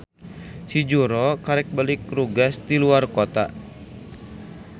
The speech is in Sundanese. Si Juhro karek balik rugas ti luar kota.